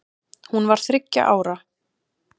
Hún var þriggja ára.